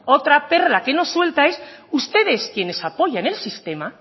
otra perla que nos suelta es ustedes a quienes apoyan el sistema